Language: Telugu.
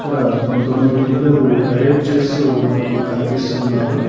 ఈడ కొంతమంది పిల్లలు పరేడ్ చేస్తూ మనకు కనిపిస్తున్నారు.